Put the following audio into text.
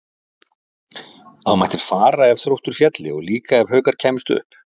Að þú mættir fara ef Þróttur félli og líka ef Haukar kæmust upp?